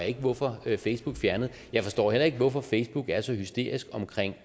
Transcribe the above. ikke hvorfor facebook fjernede jeg forstår heller ikke hvorfor facebook er så hysterisk omkring